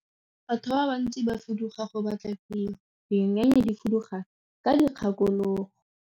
Batho ba bantsi ba fuduga go batla tiro, dinonyane di fuduga ka dikgakologo.